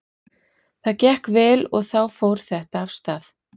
Það gekk vel og þá fór þetta af stað.